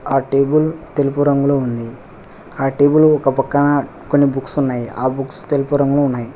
ఆ టేబుల్ తెలుపు రంగులో ఉంది. ఆ టేబుల్ ఒక పక్కన కొన్ని బుక్స్ ఉన్నాయ్. ఆ బుక్స్ తెలుపు రంగులో ఉన్నాయి.